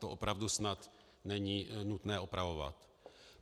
To opravdu snad není nutné opravovat.